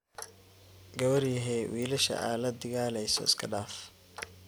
Gawaryahee wilasha aa ladigaleyso iskadaaf.